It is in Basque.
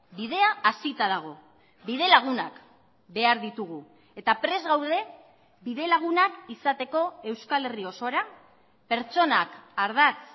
bidea hasita dago bidelagunak behar ditugu eta prest gaude bidelagunak izateko euskal herri osora pertsonak ardatz